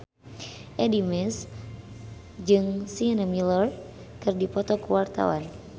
Addie MS jeung Sienna Miller keur dipoto ku wartawan